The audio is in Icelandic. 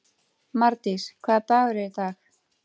Mardís, hvaða dagur er í dag?